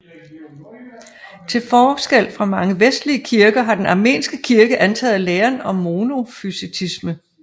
Til forskel fra mange vestlige kirker har den armenske kirke antaget læren om monofysitisme